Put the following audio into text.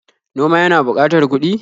Noma yana buƙatar kuɗi.